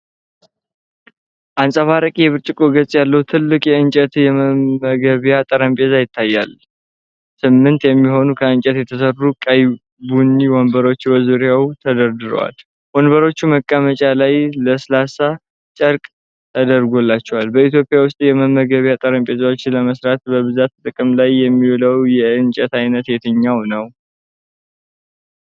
አንፀባራቂ የብርጭቆ ገጽ ያለው ትልቅ የእንጨት የመመገቢያ ጠረጴዛ ይታያል። ስምንት የሚሆኑ ከእንጨት የተሠሩ ቀይ ቡኒ ወንበሮች በዙሪያው ተደርድረዋል። ወንበሮቹ መቀመጫ ላይ ለስላሳ ጨርቅ ተደርጎላቸዋል። በኢትዮጵያ ውስጥ የመመገቢያ ጠረጴዛዎችን ለመሥራት በብዛት ጥቅም ላይ የሚውለው የእንጨት ዓይነት የትኛው ነው?